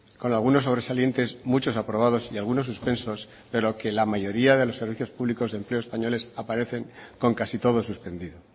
con algunos sobresalientes muchos aprobados y algunos suspensos pero que la mayoría de los servicios públicos de empleo españoles aparecen con casi todo suspendido